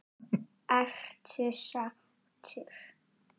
Ertu sáttur?